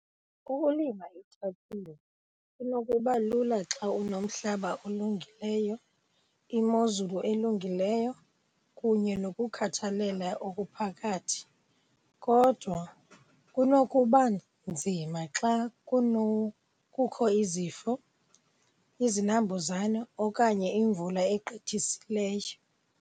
Ukulima iitabile inokuba lula xa unomhlaba olungileyo, imozulu elungileyo kunye nokukhathalela okuphakathi. Kodwa kunokuba nzima xa kukho izifo, izinambuzane okanye imvula egqithisileyo.